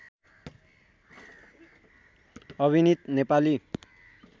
अभिनित Nepali